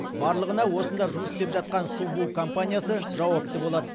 барлығына осында жұмыс істеп жатқан субу компаниясы жауапты болады